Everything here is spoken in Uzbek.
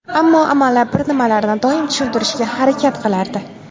Ammo amallab bir nimalarni doim tushuntirishga harakat qilardi.